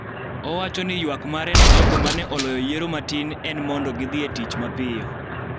Owacho ni ywak mare ne jogo ma ne oloyo yiero matin en mondo gidhi e tich mapiyo